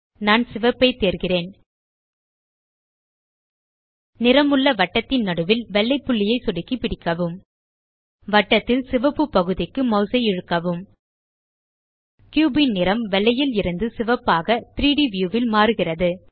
நான் சிவப்பை தேர்கிறேன் நிறம் உள்ள வட்டத்தின் நடுவில் வெள்ளை புள்ளியை சொடுக்கி பிடிக்கவும் வட்டத்தில் சிவப்பு பகுதிக்கு மாஸ் ஐ இழுக்கவும் கியூப் ன் நிறம் வெள்ளையில் இருந்து சிவப்பாக 3ட் வியூ ல் மாறுகிறது